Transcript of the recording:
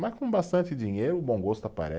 Mas com bastante dinheiro, o bom gosto